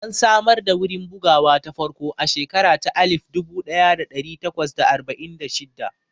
An samar da wurin bugawa ta farko a shekara ta alif dubu ɗaya da ɗari takwas da arba'in da shidda